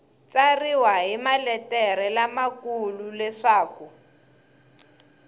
tsariwa hi maletere lamakulu leswaku